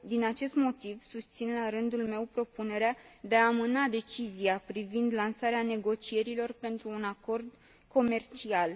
Din acest motiv, susțin, la rândul meu, propunerea de a amâna decizia privind lansarea negocierilor pentru un acord comercial.